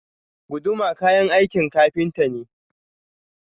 Guduma kayan aikin ƙafinta ne.